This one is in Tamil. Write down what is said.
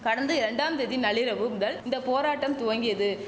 கடந்த ரெண்டாம் தேதி நள்ளிரவு முதல் இந்த போராட்டம் துவங்கியது